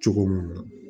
Cogo mun na